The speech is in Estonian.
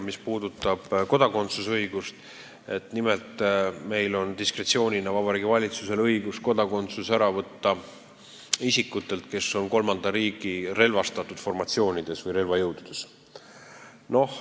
Nimelt, Vabariigi Valitsusel on diskretsiooni vormis õigus võtta kodakondsus ära isikutelt, kes on kolmanda riigi relvastatud formatsioonides või relvajõududes.